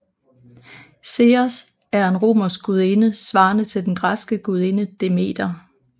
Ceres er en romersk gudinde svarende til den græske gudinde Demeter